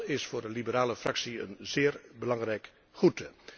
Dat is voor de liberale fractie een zeer belangrijk goed.